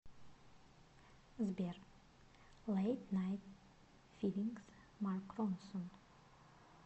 сбер лэйт найт филингс марк ронсон